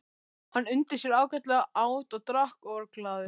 Hann undi sér ágætlega, át og drakk og var glaður.